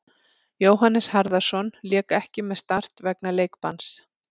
Jóhannes Harðarson lék ekki með Start vegna leikbanns.